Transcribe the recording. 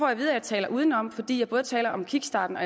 at vide at jeg taler udenom fordi jeg både taler om kickstarten og